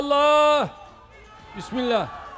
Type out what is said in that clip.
Ya Allah, Bismillah.